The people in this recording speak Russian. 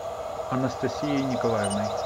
анастасией николаевной